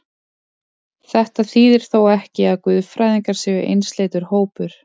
Þetta þýðir þó ekki, að guðfræðingar séu einsleitur hópur.